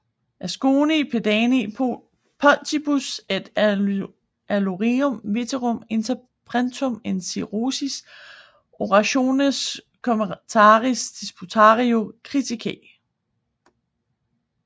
Asconii Pediani fontibus et aliorum veterum interpretum in Ciceronis orationes commentariis disputatio critica